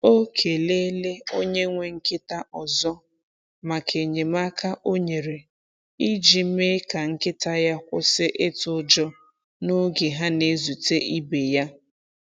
O kelele onye nwe nkịta ọzọ maka enyemaka o nyere iji mee ka nkịta ya kwụsị itụ ụjọ n’oge ha na-ezute ibe ya.